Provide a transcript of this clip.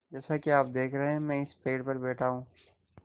जैसा कि आप देख रहे हैं मैं इस पेड़ पर बैठा हूँ